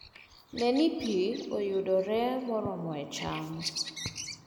Ne ni pi yudore moromo e cham